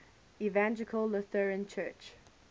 evangelical lutheran church